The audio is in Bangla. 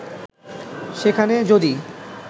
সেখানে যদি